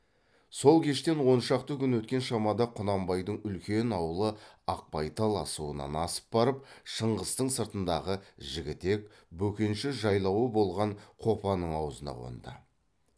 сол кештен он шақты күн өткен шамада құнанбайдың үлкен аулы ақбайтал асуынан асып барып шыңғыстың сыртындағы жігітек бөкенші жайлауы болған қопаның аузына қонды